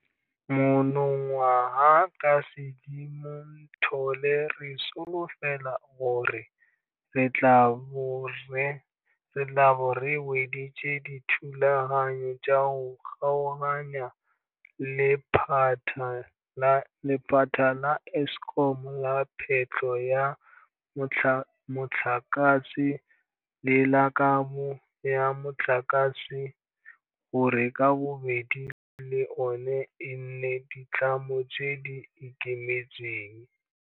Monongwaga ka Sedimonthole re solofela gore re tla bo re weditse dithulaganyo tsa go kgaoganya lephata la Eskom la phetlho ya motlakase le la kabo ya motlakase gore ka bobedi le ona e nne ditlamo tse di ikemetseng.